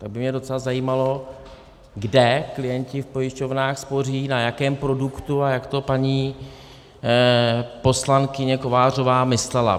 Tak by mě docela zajímalo, kde klienti v pojišťovnách spoří, na jakém produktu a jak to paní poslankyně Kovářová myslela.